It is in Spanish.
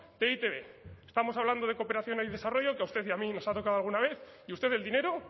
de e i te be estamos hablando de cooperación al desarrollo que a usted y a mí nos ha tocado alguna vez y usted el dinero